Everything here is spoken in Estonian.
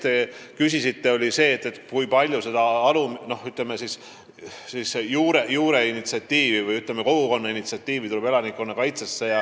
Te küsisite ka, kui palju näeb elanikkonnakaitse kontseptsioon ette juuretasandilt tulevat initsiatiivi ehk kogukonna initsiatiivi.